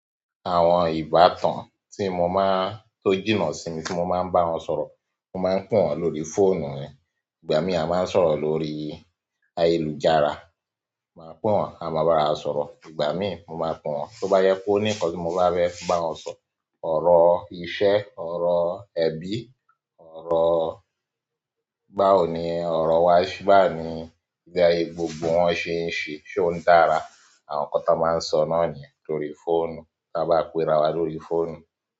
Àwọn ìbátan tí mo máa ń tó jìnnà sí mi tí mo máa ń bá wọn sọ̀rọ̀, mo máa ń pè wọ́n lórí fóònù. Igbami a máa ń sọ̀rọ̀ lórí ayélujára, má pè wọ́n a máa barawa sọ̀rọ̀ igbami mo máa pè wọ́n tó bá jẹ́ pé o ní ǹkan tí mo fẹ́ bá wọ́n sọ, ọ̀rọ̀ iṣẹ́, ọ̀rọ̀ ẹbí, ọ̀rọ̀ báwo ni ọ̀rọ̀ wa, báwo ni bí gbogbo wọn ṣe ń ṣe, ṣé ó ń dára? Àwọn nkán tí a máa ń sọ́ náà nìyẹn lórí fóònù tí a bá pẹ́ra wa lórí fóònù.